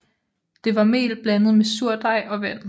Det var mel blandet med surdej og vand